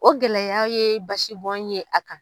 O gɛlɛya ye basibɔn ye a kan